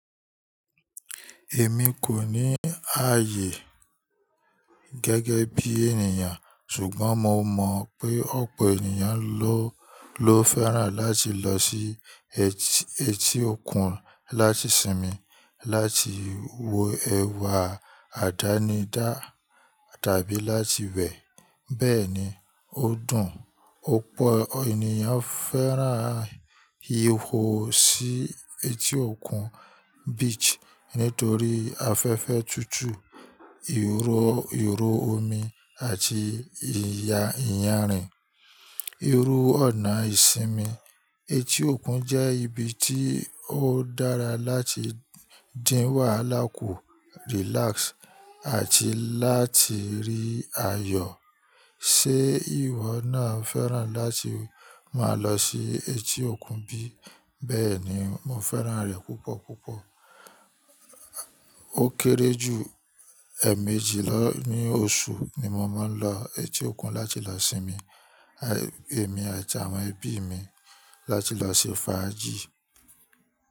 Èmi kò ní ààyè gẹ́gẹ́ bí ènìyàn, ṣùgbọ́n mo mọ̀ pé ọ̀pọ̀ ènìyàn ló, ló fẹ́ràn láti lọ sí eti, eti òkun láti sinmi, láti wo ẹwà àdánidá tàbí láti wẹ̀. Bẹ́ẹ̀ni, ó dùn. O Òpọ̀ ènìyàn fẹ́ràn yího sí eti òkun, beach, nítorí afẹ́fẹ́ tútù, ìró, ìró omi àti ìyà, ìyànrìn. Irú ọ̀nà ìsinmi. Eti òkun jẹ́ ibi tí ó dára láti dìn wàhálà kù, relax àti láti rí ayọ̀. Ṣé ìwọ náà fẹ́ràn láti máa lọ sí eti òkun bí? Bẹ́ẹ̀ni, mo fẹ́ràn rẹ̀ púpọ̀ púpọ̀. Ó kéré jù ẹẹ̀ẹ̀méjì ló ní oṣù ni mo máa ń lọ eti òkun láti lọ sinmi, èmi àti àwọn ẹbí mi láti lọ ṣe fàájì.